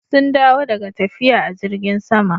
Sun dawo daga tafiya a jirgn sama.